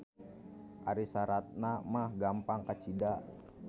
Ari saratna mah gampang kacida.